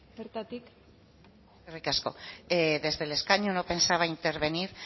bertatik eskerrik asko desde el escaño no pensaba intervenir